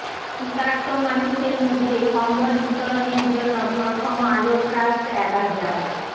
শীতার্ত মানুষের মধ্যে কম্বল বিতরণের জন্য প্রথম আলো ট্রাস্ট এক হাজার